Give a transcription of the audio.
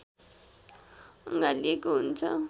अँगालिएको हुन्छ